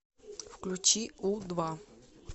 включи у два